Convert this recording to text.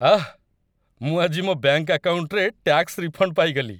ଆଃ! ମୁଁ ଆଜି ମୋ ବ୍ୟାଙ୍କ ଆକାଉଣ୍ଟରେ ଟ୍ୟାକ୍ସ ରିଫଣ୍ଡ ପାଇଗଲି।